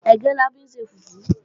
Ẹ̀gẹ́ la fi ń ṣe fùfú